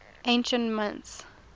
ancient mints